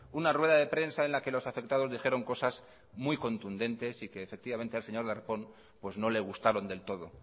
una rueda de prensa en la que los afectados dijeron cosas muy contundentes y que efectivamente al señor darpón pues no le gustaron del todo